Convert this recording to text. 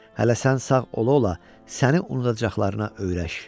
Hələ sən sağ ola-ola səni unudacaqlarına öyrəş.